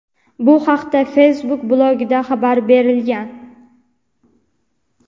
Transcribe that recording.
Bu haqda Facebook blogida xabar berilgan.